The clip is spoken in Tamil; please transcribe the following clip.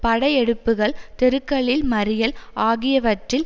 படையெடுப்புகள் தெருக்களில் மறியல் ஆகியவற்றில்